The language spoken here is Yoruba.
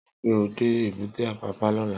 Ri pé ó dé ébùté Apapa lòlá